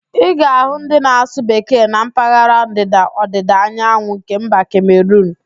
Ị ga-ahụ ndị na-asụ Bekee na mpaghara Ndịda-Ọdịda Anyanwụ nke mba Kemeruun